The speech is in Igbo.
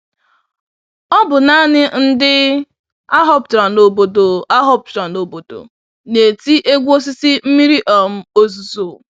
Ọbụ nanị ndị ahọpụtara n'obodo ahọpụtara n'obodo na-eti egwu osisi mmiri um ozuzo